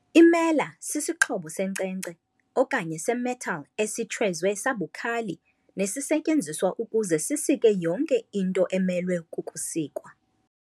Imela sisixhobo senkcenkce okanye se-metal esitshwezwe sabukhali nesisetyenziswa ukuze sisike yonke into emelwe kukusikwa.